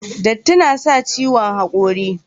Datti na sa ciwon hakori